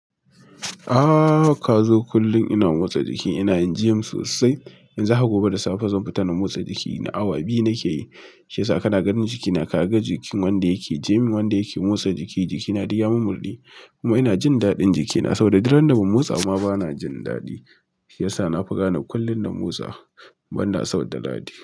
Ah Kazo kullum ina motsa jiki. Ina yin gym sosai. Yanzu haka gobe da safe zan futa na motsa jik na awa biyu nake yi. Shi yasa kana ganin jikina. Kaga jikin wanda yake gym wanda yake motsa jiki. Jikina duk ya mummurde. Kuma ina jin daɗin jikina saboda idan ba mu motsa ma bana jin daɗi. Shi yasa na fi gane kullum na motsa. Banda asabar da laɗi.